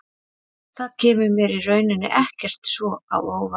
Það kemur mér í rauninni ekkert svo á óvart.